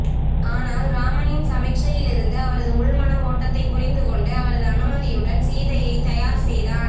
ஆனால் ராமனின் சமிக்ஞையிலிருந்து அவரது உள்மன ஓட்டத்தைப் புரிந்து கொண்டு அவரது அனுமதியுடன் சிதையைத் தயார் செய்தான்